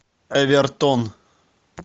эвертон